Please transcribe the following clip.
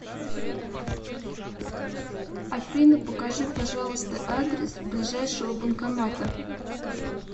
афина покажи пожалуйста адрес ближайшего банкомата